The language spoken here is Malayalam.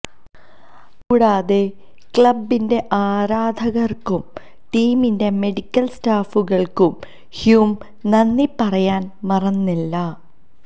കൂടാതെ ക്ലബ്ബിന്റെ ആരാധകർക്കും ടീമിന്റെ മെഡിക്കൽ സ്റ്റാഫുകൾക്കും ഹ്യൂം നന്ദി പറയാൻ മറന്നില്ല